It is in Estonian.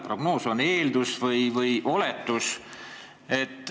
Prognoos on eeldus või oletus.